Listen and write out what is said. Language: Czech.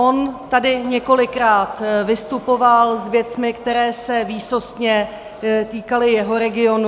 On tady několikrát vystupoval s věcmi, které se výsostně týkaly jeho regionu.